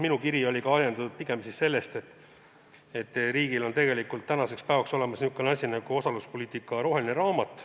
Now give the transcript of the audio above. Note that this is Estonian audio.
Minu kiri oli ajendatud ka sellest, et riigil on tegelikult tänaseks päevaks olemas niisugune asi nagu "Riigi osaluspoliitika roheline raamat".